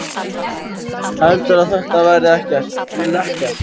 Heldurðu að þetta verði ekki lekkert?